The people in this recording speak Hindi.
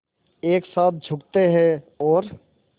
एक साथ झुकते हैं और